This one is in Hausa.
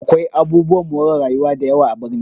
Akwai abubuwan more rayuwa dayawa a birni